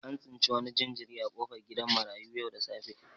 An tsinci wani jinjiri a kofar gidan marayu yau da safe.